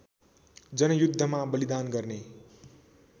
जनयुद्धमा बलिदान गर्ने